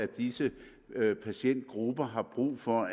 disse patientgrupper har brug for